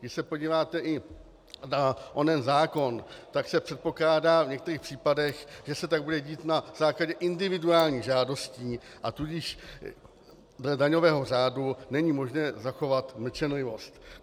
Když se podíváte i na onen zákon, tak se předpokládá v některých případech, že se tak bude dít na základě individuálních žádostí, a tudíž dle daňového řádu není možné zachovat mlčenlivost.